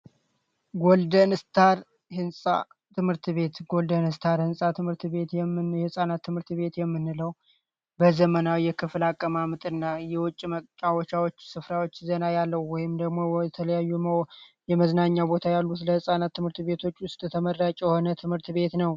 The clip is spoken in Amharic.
ጎልደን ስታር ትምህርት ቤት ቤት የህጻናት ትምህርት ቤት በዘመናዊ ክፍል አቀማመጥና የውጭ መጥፋት ዜና ያለው ወይም ደሞ የተለያዩ የመዝናኛ ቦታ ያሉ ለህፃናት ትምህርት ቤቶች ውስጥ የሆነ ትምህርት ቤት ነው